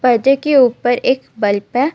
पर्दे के ऊपर एक बल्ब हैं.